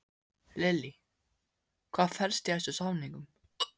Lillý, hvað felst í þessum samningum?